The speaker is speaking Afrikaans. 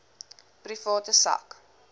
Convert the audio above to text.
private sak